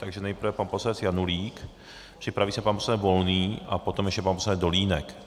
Takže nejprve pan poslanec Janulík, připraví se pan poslanec Volný a potom ještě pan poslanec Dolínek.